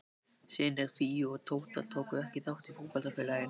Synir Fíu og Tóta tóku ekki þátt í fótboltafélaginu.